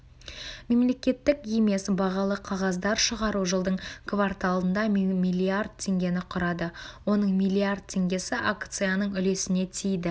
мемлекеттік емес бағалы қағаздар шығару жылдың кварталында млрд теңгені құрады оның млрд теңгесі акциясының үлесіне тиді